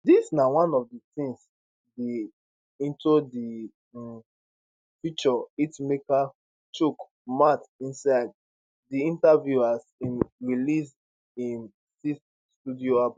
dis na one of di tins di into di um future hitmaker chook mouth inside di interview as im release im sixth studio album